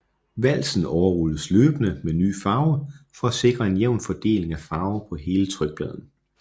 Valsen overrulles løbende med ny farve for sikre en jævn fordeling af farve på hele trykpladen